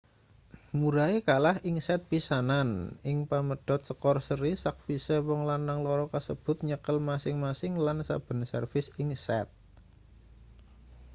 murray kalah ing set pisanan ing pamedhot skor seri sakwise wong lanang loro kasebut nyekel masing-masing lan saben servis ing set